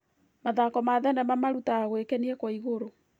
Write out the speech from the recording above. Mathako ma thenema marutaga gwĩkenia kwa igũrũ.